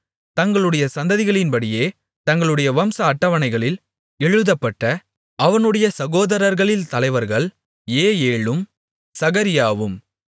தங்களுடைய சந்ததிகளின்படியே தங்களுடைய வம்ச அட்டவணைகளில் எழுதப்பட்ட அவனுடைய சகோதரர்களில் தலைவர்கள் ஏயேலும் சகரியாவும்